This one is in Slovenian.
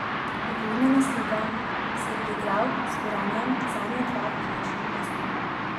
Uvodna naslova si je priigral z Gorenjem, zadnja dva v knežjem mestu.